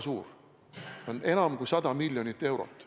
See on enam kui 100 miljonit eurot.